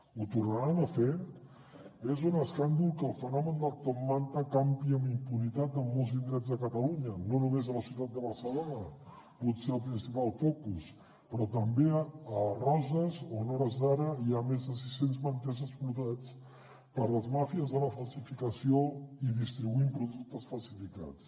ho tornaran a fer és un escàndol que el fenomen del top manta campi amb impunitat en molts indrets de catalunya no només a la ciutat de barcelona potser el principal focus però també a roses on a hores d’ara hi ha més de sis cents manters explotats per les màfies de la falsificació i distribuint productes falsificats